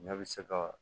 Ɲɛ bi se ka